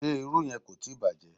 Ṣé irú yẹn kò tíì bàjẹ́?